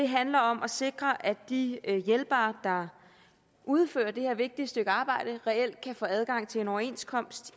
handler om at sikre at de hjælpere der udfører det her vigtige stykke arbejde reelt kan få adgang til en overenskomst